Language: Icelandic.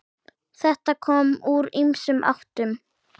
Þetta kom úr ýmsum áttum.